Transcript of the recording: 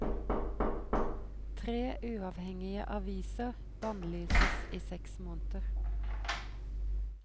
Tre uavhengige aviser bannlyses i seks måneder.